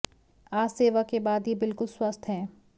आज सेवा के बाद ये बिल्कुल स्वस्थ्य हैं